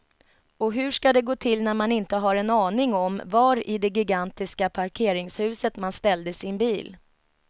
Och hur ska det gå till när man inte har en aning om var i det gigantiska parkeringshuset man ställde sin bil.